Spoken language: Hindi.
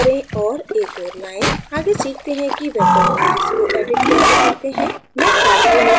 आगे सीखते हैं कि vector इमेजेस को edit कैसे करते हैं मैं काली image को edit करुँगी